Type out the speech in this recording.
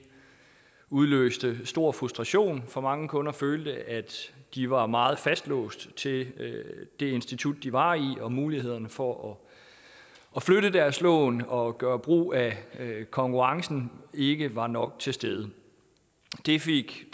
udløste stor frustration for mange kunder følte at de var meget fastlåste til det institut de var i og at mulighederne for at flytte deres lån og gøre brug af konkurrencen ikke var nok til stede det fik